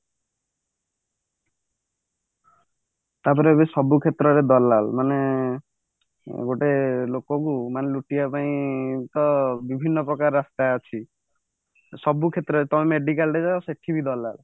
ତା ପରେ ଏବେ ସବୁ କ୍ଷେତ୍ରରେ ଦଲାଲ ମାନେ ଗୋଟେ ଲୋକକୁ ଲୁଟିବା ପାଇଁ ତ ବିଭିନ୍ନ ପ୍ରକାର ରାସ୍ତା ଅଛି ସବୁ କ୍ଷେତ୍ରରେ ତମେ medical କୁ ଯାଅ ସେଠି ବି ଦଲାଲ ପୁଣି